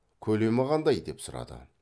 көлемі қандай деп сұрады